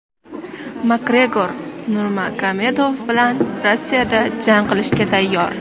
Makgregor Nurmagomedov bilan Rossiyada jang qilishga tayyor.